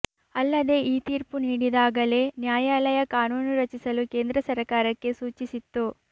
ಅಲ್ಲದೆ ಈ ತೀರ್ಪು ನೀಡಿದಾಗಲೇ ನ್ಯಾಯಾಲಯ ಕಾನೂನು ರಚಿಸಲು ಕೇಂದ್ರ ಸರಕಾರಕ್ಕೆ ಸೂಚಿಸಿತ್ತು